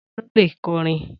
Ta ló le kọrin?